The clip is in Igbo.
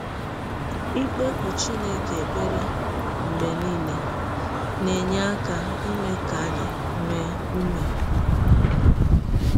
Ikpekụ Chineke ekpere mgbe nile na - enye aka eme ka anyị nwee ụme.